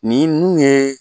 Ninnu yee